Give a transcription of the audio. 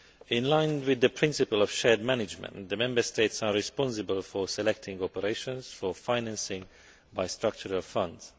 In line with the principle of shared management, the Member States are responsible for selecting operations for financing under the structural funds.